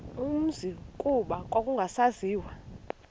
umzi kuba kwakungasaziwa